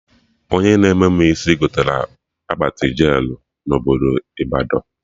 Onye na-eme mụ isi gotere akpati jelụ na obodo Ịbadọ